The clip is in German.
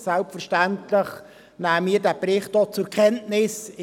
Selbstverständlich nehmen auch wir den Bericht zur Kenntnis.